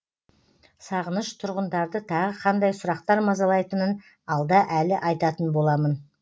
сағыныш тұрғындарды тағы қандай сұрақтар мазалайтынын алда әлі айтатын боламын